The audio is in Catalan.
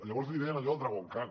llavors li deien a allò el dragon khan